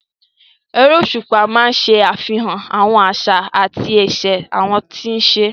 Erésùpá máa ń ṣe àfihàn àwọn àṣà àti ìṣe àwọn tí ń ṣe é